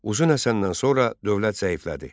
Uzun Həsəndən sonra dövlət zəiflədi.